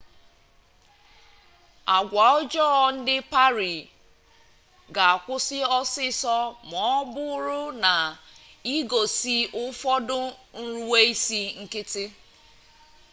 agwa ọjọọ ndị pari ga-akwụsị ọsịịsọ ma ọ bụrụ na i gosi ụfọdụ nruweisi nkịtị